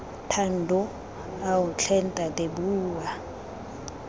thando ao tlhe ntate bua